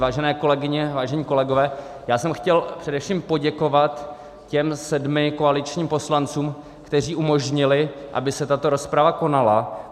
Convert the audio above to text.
Vážené kolegyně, vážení kolegové, já jsem chtěl především poděkovat těm sedmi koaličním poslancům, kteří umožnili, aby se tato rozprava konala.